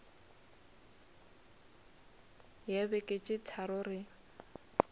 ya beke tše tharo re